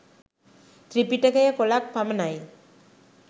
ත්‍රිපිටකය කොලක් පමණයි